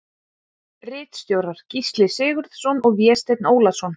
Ritstjórar Gísli Sigurðsson og Vésteinn Ólason.